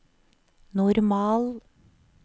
normal